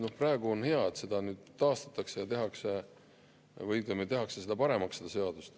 No praegu on hea, et see nüüd taastatakse ja tehakse seda seadust paremaks.